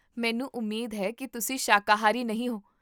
ਮੈਨੂੰ ਉਮੀਦ ਹੈ ਕੀ ਤੁਸੀਂ ਸ਼ਾਕਾਹਾਰੀ ਨਹੀਂ ਹੋ